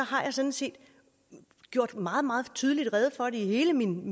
har jeg sådan set gjort meget meget tydeligt rede for det i hele min